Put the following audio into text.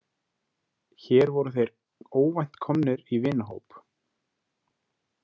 Hér voru þeir óvænt komnir í vinahóp.